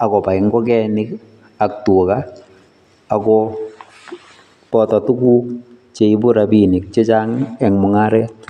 ak kobai nkokenik ak tuga ako boto tuguk cheibu rapiinik chechang eng mung'aret.